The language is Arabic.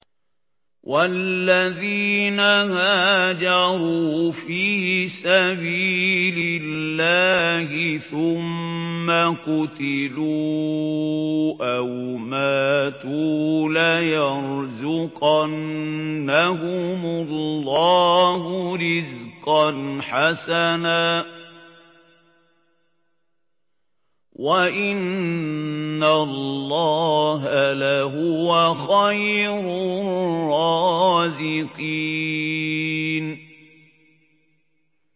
وَالَّذِينَ هَاجَرُوا فِي سَبِيلِ اللَّهِ ثُمَّ قُتِلُوا أَوْ مَاتُوا لَيَرْزُقَنَّهُمُ اللَّهُ رِزْقًا حَسَنًا ۚ وَإِنَّ اللَّهَ لَهُوَ خَيْرُ الرَّازِقِينَ